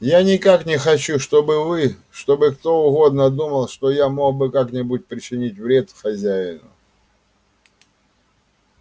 я никак не хочу чтобы вы чтобы кто угодно думал что я мог бы как-нибудь причинить вред хозяину